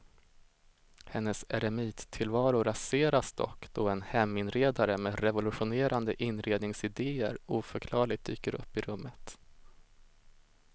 Hennes eremittillvaro raseras dock då en heminredare med revolutionerande inredningsidéer oförklarligt dyker upp i rummet.